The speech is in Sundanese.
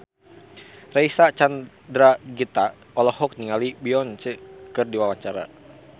Reysa Chandragitta olohok ningali Beyonce keur diwawancara